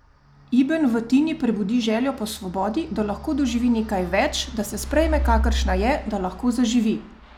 Iben v Tini prebudi željo po svobodi, da lahko doživi nekaj več, da se sprejme kakršna je, da lahko zaživi!